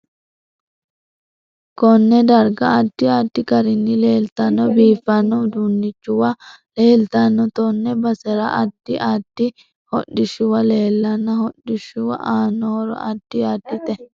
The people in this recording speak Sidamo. Konne darga addi addi garinni leeltanno biifanno uduunichuwa leeltanno tenne basera addi addi hodhishuwa leelanno hodhishu aanno horo addi addite